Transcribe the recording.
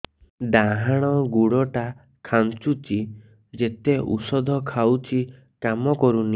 ଡାହାଣ ଗୁଡ଼ ଟା ଖାନ୍ଚୁଚି ଯେତେ ଉଷ୍ଧ ଖାଉଛି କାମ କରୁନି